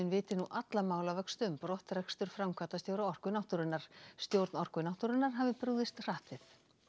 viti nú alla málavöxtu um brottrekstur framkvæmdastjóra Orku náttúrunnar stjórn Orku náttúrunnar hafi brugðist hratt við